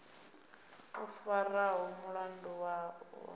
o faraho mulandu wavho u